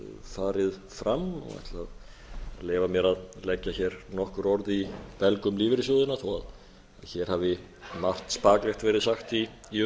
farið fram og ætla að leyfa mér að leggja hér nokkur orð í belg um lífeyrissjóðina þó að hér hafi margt spaklegt verið sagt í